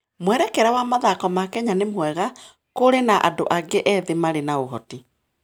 Mwerekera wa mathako ma Kenya nĩ mwega, na kũrĩ na andũ aingĩ ethĩ marĩ na ũhoti.